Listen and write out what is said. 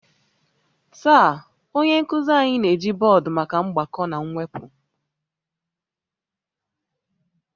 Taa, onye nkuzi anyị na-eji bọọdụ maka mgbakọ na mwepụ